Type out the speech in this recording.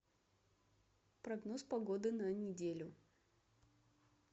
прогноз погоды на неделю